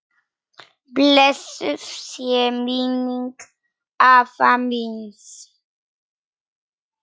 Blessuð sé minning afa míns.